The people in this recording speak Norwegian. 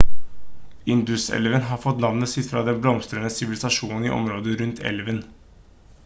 induselven har fått navnet sitt fra den blomstrende sivilisasjonen i områdene rundt elven